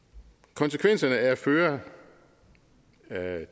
konsekvenserne af at føre